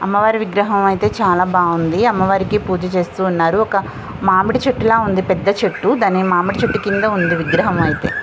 అమ్మవారి విగ్రహం అయితే చాలా బాగుంది . అమ్మవారికి పూజ చేస్తూ ఉన్నారు. మామిడి చెట్టులా ఉంది పెద్ద చెట్టు. దాని మామిడి చెట్టు కింద విగ్రహం ఉంది విగ్రహం అయితే.